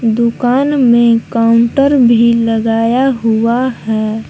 दुकान में काउंटर भी लगाया हुआ है।